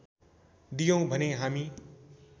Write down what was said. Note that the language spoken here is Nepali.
दियौँ भने हामी